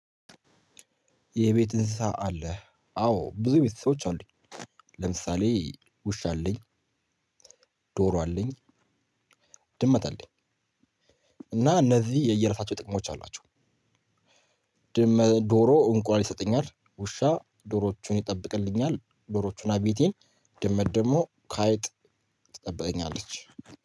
የቤት እንስሳ አለህ? አዎ ብዙ የቤት እንሰሶች አሉኝ ለምሳሌ ውሻ አለኝ፣ ዶሮ አለኝ፣ ድመት አለኝ እና እነዚህ የየራሳቸው ጥቅሞች አሏቸው። ዶሮ እንቁላል ይሰጠኛል፤ ውሻ ዶሮዎቹን ይጠብቅልኛል፤ ዶሮቹና ቤቴን ድመት ደግሞ ከአይጥ ትጠብቀኛለች።